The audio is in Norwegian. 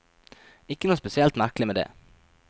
Ikke noe spesielt merkelig med det.